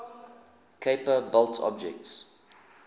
kuiper belt objects